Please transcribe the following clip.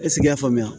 E sigi y'a faamuya